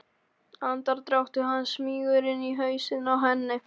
Andardráttur hans smýgur inn í hausinn á henni.